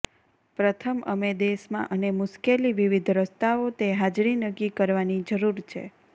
પ્રથમ અમે દેશમાં અને મુશ્કેલી વિવિધ રસ્તાઓ તે હાજરી નક્કી કરવાની જરૂર છે